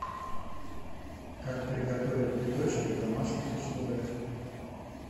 как приготовить биточки в домашних условиях